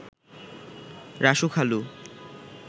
রাসু খালু